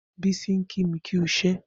Bisi n kí mi kì iṣẹ